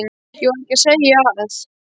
Ég var ekki að segja að.